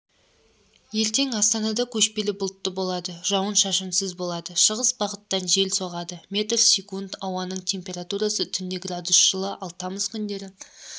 ертең астанада көшпелі бұлтты болады жауын-шашынсыз болады шығыс бағыттан жел соғады метр секунд ауаның температурасы түнде градус жылы ал тамыз күндері